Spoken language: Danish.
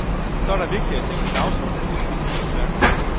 Så er der vigtigere ting på dagsordenen end mit kunstværk.